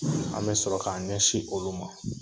An be sɔrɔ k'an ɲɛsin olu ma.